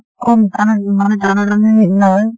কম তা মানে টানা টানিৰ নিছিনা হয়।